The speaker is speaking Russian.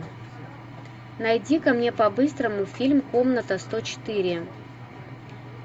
найди ка мне по быстрому фильм комната сто четыре